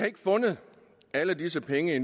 ikke fundet alle disse penge